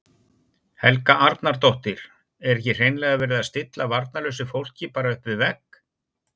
Helga Arnardóttir: Er ekki hreinlega verið að stilla varnarlausu fólki bara upp við vegg?